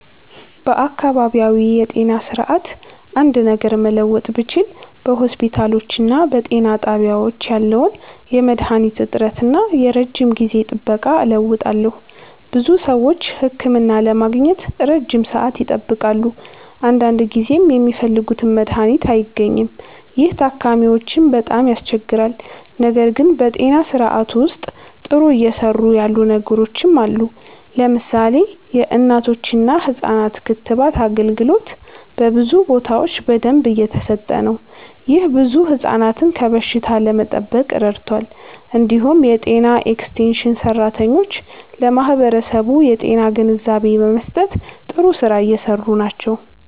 በአካባቢያዊ የጤና ስርዓት አንድ ነገር መለወጥ ብችል በሆስፒታሎችና በጤና ጣቢያዎች ያለውን የመድሃኒት እጥረት እና የረጅም ጊዜ ጥበቃ እለውጣለሁ። ብዙ ሰዎች ህክምና ለማግኘት ረጅም ሰዓት ይጠብቃሉ፣ አንዳንድ ጊዜም የሚፈልጉት መድሃኒት አይገኝም። ይህ ታካሚዎችን በጣም ያስቸግራል። ነገር ግን በጤና ስርዓቱ ውስጥ ጥሩ እየሰሩ ያሉ ነገሮችም አሉ። ለምሳሌ የእናቶችና ህፃናት ክትባት አገልግሎት በብዙ ቦታዎች በደንብ እየተሰጠ ነው። ይህ ብዙ ህፃናትን ከበሽታ ለመጠበቅ ረድቷል። እንዲሁም የጤና ኤክስቴንሽን ሰራተኞች ለማህበረሰቡ የጤና ግንዛቤ በመስጠት ጥሩ ስራ እየሰሩ ናቸው።